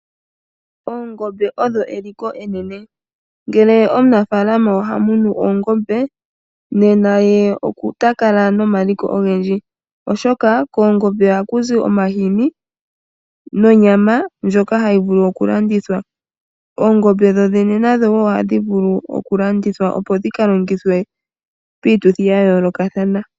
Oongombe odho eliko enene. Ngele omunafaalama oha munu oongombe ota kala nomaliko ogendji, oshoka koongombe ohaku zi omahini nonyama ndjoka hayi vulu okulandithwa. Oongombe dhodhene nadho ohadhi vulu oku landithwa, opo dhi ka longithwe piituthi ya yoolokathana.